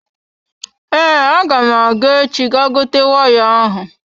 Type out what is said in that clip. Ee, agam aga echi ga gote waya ahụ.